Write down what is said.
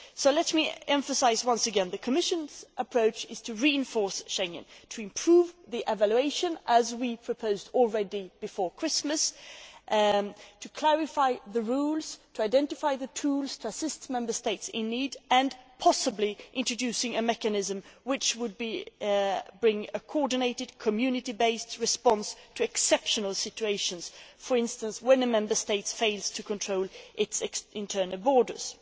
Let me emphasise once again that the Commission's approach is to reinforce Schengen, to improve the evaluation as we already proposed before Christmas to clarify the rules, to identify the tools, to assist Member States in need and, possibly, to introduce a mechanism which would bring a coordinated Community based response to exceptional situations, for instance, when a Member State fails to control its internal borders.